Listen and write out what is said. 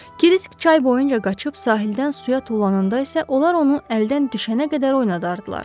Kirisk çay boyunca qaçıb sahildən suya tullananda isə onlar onu əldən düşənə qədər oynadardılar.